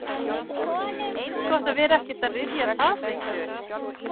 Eins gott að vera ekkert að rifja það neitt upp.